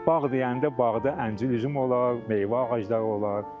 Bağ deyəndə bağda əncir üzüm olar, meyvə ağacları olar.